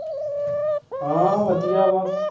ਹਾਂ ਵਧੀਆ ਵਾਂ